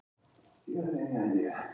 Sem það og er.